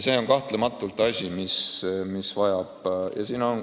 See on kahtlemata asi, mis vajab arutamist.